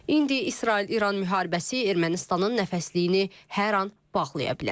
İndi İsrail-İran müharibəsi Ermənistanın nəfəsliyini hər an bağlaya bilər.